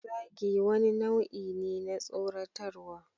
Zagi wani nau'i ne na tsoratarwa.